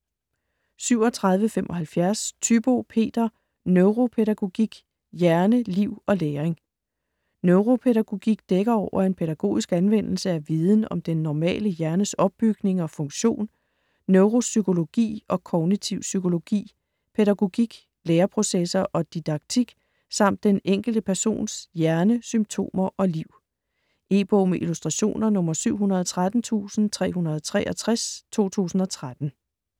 37.75 Thybo, Peter: Neuropædagogik: hjerne, liv og læring Neuropædagogik dækker over en pædagogisk anvendelse af viden om den normale hjernes opbygning og funktion, neuropsykologi og kognitiv psykologi, pædagogik, læreprocesser og didaktik samt den enkelte persons hjerne, symptomer og liv. E-bog med illustrationer 713363 2013.